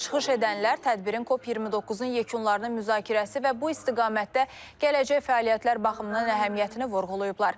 Çıxış edənlər tədbirin COP 29-un yekunlarını müzakirəsi və bu istiqamətdə gələcək fəaliyyətlər baxımından əhəmiyyətini vurğulayıblar.